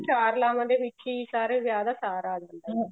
ਚਾਰ ਲਾਵਾਂ ਦੇ ਵਿੱਚ ਹੀ ਸਾਰੇ ਵਿਆਹ ਦਾ ਸਾਰ ਆ ਜਾਂਦਾ ਹੈ